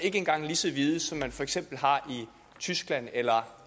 ikke engang så vide regler som man for eksempel har i tyskland eller